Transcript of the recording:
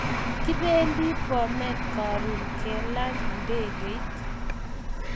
Kipendi bomet karun kelan ndegeit .